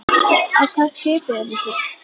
Á hvaða skipi eru þið?